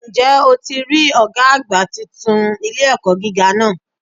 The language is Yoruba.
Ǹ jẹ́ o ti rí Ọ̀gá àgbà titun ilé-ẹ̀kọ́ gíga náà